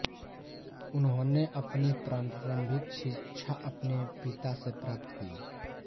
उन्होंने अपनी प्रारंभिक शिक्षा अपने पिता से प्राप्त की